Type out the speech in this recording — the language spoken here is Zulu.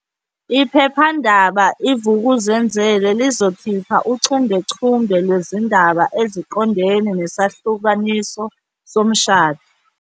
Iphephandaba i-Vukuzenzele lizokhipha uchungechunge lwezindaba eziqondene nesahlukaniso somshado.